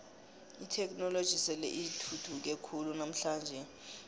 itheknoloji sele ithuthuke khulu namhlanje